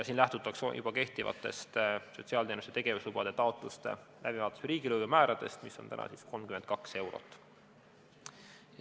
Siin lähtutakse juba kehtivatest sotsiaalteenuste tegevuslubade taotluste läbivaatamise riigilõivu määrast, mis on 32 eurot.